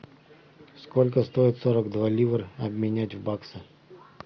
сколько стоит сорок два ливра обменять в баксы